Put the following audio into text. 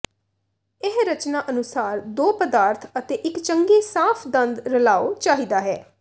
ਇਹ ਰਚਨਾ ਅਨੁਸਾਰ ਦੋ ਪਦਾਰਥ ਅਤੇ ਇੱਕ ਚੰਗੇ ਸਾਫ਼ ਦੰਦ ਰਲਾਉ ਚਾਹੀਦਾ ਹੈ